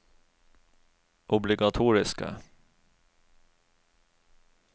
obligatoriske